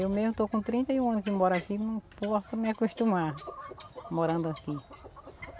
Eu mesmo estou com trinta e um anos que moro aqui e não posso me acostumar morando aqui.